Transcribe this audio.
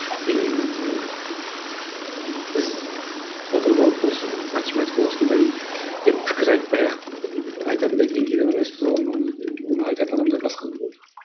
ол біз отырып алып осы математика осындай деп пікір айтпай ақ айтатындай деңгейде ғана емеспіз оны оны айтатын адамдар басқа